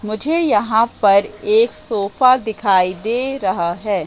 मुझे यहां पर एक सोफा दिखाई दे रहा है।